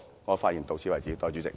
我的發言到此為止。